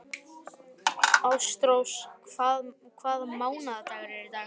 Ástrós, hvaða mánaðardagur er í dag?